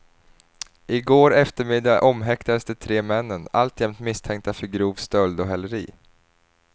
I går eftermiddag omhäktades de tre männen, alltjämt misstänkta för grov stöld och häleri.